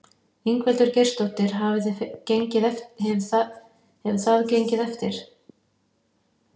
Ingveldur Geirsdóttir: Hefur það gengið eftir?